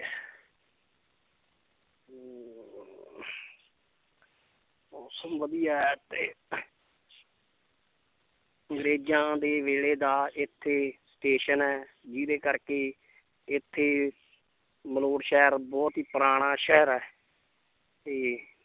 ਮੌਸਮ ਵਧੀਆ ਹੈ ਤੇ ਅੰਗਰੇਜ਼ਾਂ ਦੇ ਵੇਲੇ ਦਾ ਇੱਥੇ ਸਟੇਸ਼ਨ ਹੈ ਜਿਹਦੇ ਕਰਕੇ ਇੱਥੇ ਮਲੌਟ ਸ਼ਹਿਰ ਬਹੁਤ ਹੀ ਪੁਰਾਣਾ ਸ਼ਹਿਰ ਹੈ ਤੇ